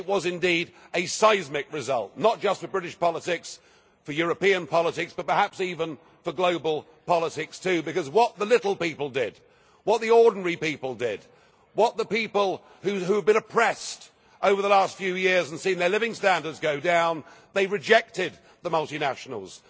It was indeed a seismic result, not just for British politics, for European politics, but perhaps even for global politics, too, because what the little people did, what the ordinary people did, the people who have been oppressed over the last few years and seen their living standards go down, they rejected the multinationals.